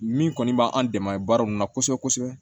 Min kɔni b'an dɛmɛ baara nunnu na kosɛbɛ kosɛbɛ